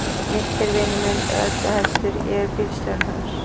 Nikki er vinur minn eða öllu heldur, ég er bílstjórinn hans.